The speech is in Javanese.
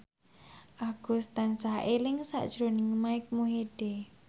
Agus tansah eling sakjroning Mike Mohede